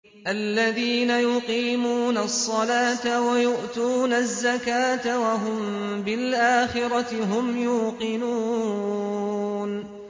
الَّذِينَ يُقِيمُونَ الصَّلَاةَ وَيُؤْتُونَ الزَّكَاةَ وَهُم بِالْآخِرَةِ هُمْ يُوقِنُونَ